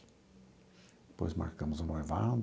Depois marcamos o noivado.